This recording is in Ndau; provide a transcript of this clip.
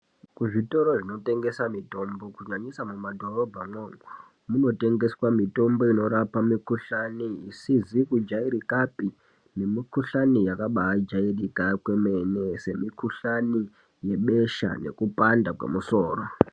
Kuzvitoro zvinotengesa mitombo kunyanyisa mumadhorobhamwo kunotengsswa mitimbo inorapa mikuglani isizi kujairikapi nemikuhlani yakabaajairika kwemene semukuhlani yebesha nekupanda kwemusoro.